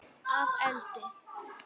Að eldi?